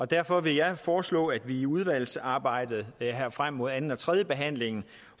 derfor vil jeg foreslå at vi i udvalgsarbejdet her frem mod anden og tredjebehandlingen